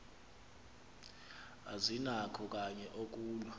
azinakho kanye ukulwa